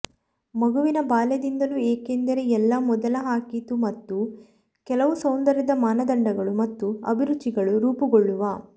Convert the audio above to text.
ಮಗುವಿನ ಬಾಲ್ಯದಿಂದಲೂ ಏಕೆಂದರೆ ಎಲ್ಲಾ ಮೊದಲ ಹಾಕಿತು ಮತ್ತು ಕೆಲವು ಸೌಂದರ್ಯದ ಮಾನದಂಡಗಳು ಮತ್ತು ಅಭಿರುಚಿಗಳು ರೂಪುಗೊಳ್ಳುವ